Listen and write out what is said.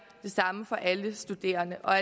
det samme for alle studerende og